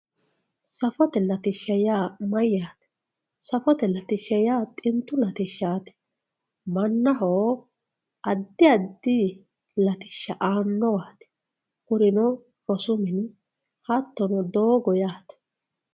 safote latishsha yaa mayaate safote latishsha yaa xintu mayaate latishshaati mannaho addi addi latishsha aannowaati kunino rosu mini hattono doogo yaate.